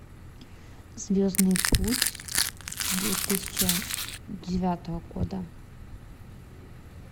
звездный путь две тысячи девятого года